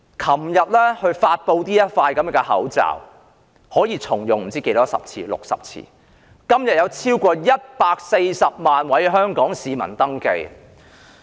昨天發布這個可以重用60次的口罩，今天已超過140萬位香港市民登記。